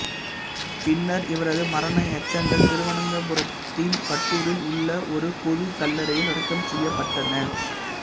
பின்னர் இவரது மரண எச்சங்கள் திருவனந்தபுரத்தின் பட்டூரில் உள்ள ஒரு பொது கல்லறையில் அடக்கம் செய்யப்பட்டன